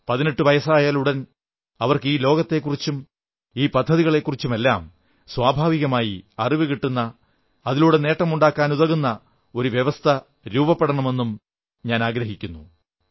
18 വയസ്സായാലുടൻ അവർക്ക് ഈ ലോകത്തെക്കുറിച്ചും ഈ പദ്ധതികളെക്കുറിച്ചുമെല്ലാം സ്വാഭാവികമായി അറിവു കിട്ടുന്ന അതിലൂടെ നേട്ടമുണ്ടാക്കാനാകുന്ന ഒരു വ്യവസ്ഥ രൂപപ്പെടണമെന്നും ഞാനാഗ്രഹിക്കുന്നു